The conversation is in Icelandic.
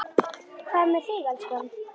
Hvað með þig, elskan.